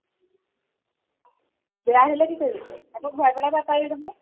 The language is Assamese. বেয়া হলে কি কৰিবি তই, আকৌ ঘুৰাই পেলাব পাৰি নহয়?